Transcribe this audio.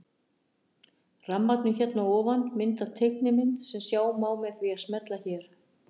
Rammarnir hér að ofan mynda teiknimynd sem sjá má með því að smella hér.